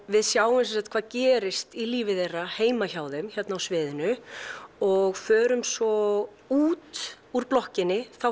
við sjáum hvað gerist í lífi þeirra heima hjá þeim hér á sviðinu og förum svo út úr blokkinni